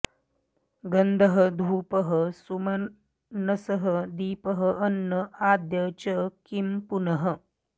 गन्धः धूपः सुमनसः दीपः अन्न आद्य च किं पुनः